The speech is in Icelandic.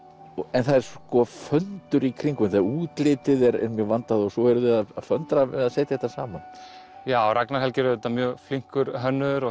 en það sko föndur í kringum þetta útlitið er mjög vandað og svo eruð þið að föndra við að setja þetta saman já Ragnar Helgi er auðvitað mjög flinkur hönnuður og